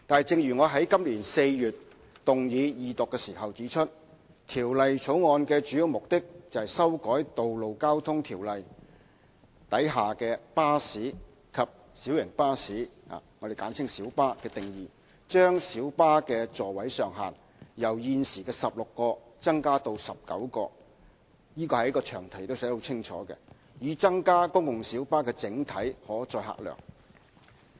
正如我在今年4月動議二讀時指出，《條例草案》的主要目的，是修改《道路交通條例》下"巴士"及"小型巴士"的定義，將小巴的座位上限由現時16個增加至19個——這一點在詳題中亦寫得很清楚——以增加公共小巴的整體可載客量。